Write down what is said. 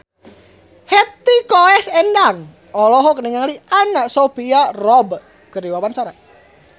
Hetty Koes Endang olohok ningali Anna Sophia Robb keur diwawancara